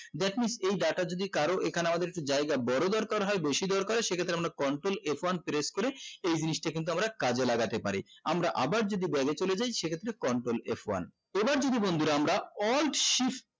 that means এই data যদি কারো এখানে আমাদের একটু জায়গার বোরো দরকার হয় বেশি দরকার হয় সে ক্ষেত্রে আমরা coltrol f one press করে এই জিনিসটা আমরা কাজে লাগাতে পারি আমরা আবার যদি গবে চলে যাই সেই ক্ষেত্রে control f one এবার যদি বন্ধুরা আমরা alt shift